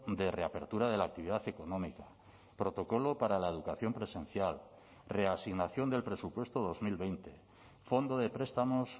de reapertura de la actividad económica protocolo para la educación presencial reasignación del presupuesto dos mil veinte fondo de prestamos